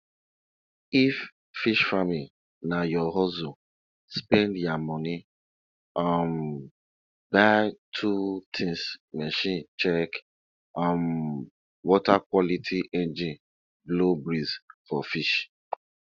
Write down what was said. animal no dey quick sick if you um dey touch am dey feel as you dey move am from one place go anoda far place. um